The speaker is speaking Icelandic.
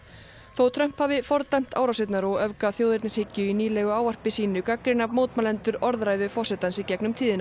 þótt Trump hafi fordæmt árásirnar og öfgaþjóðernishyggju í nýlegu ávarpi sínu gagnrýna mótmælendur orðræðu forsetans í gegnum tíðina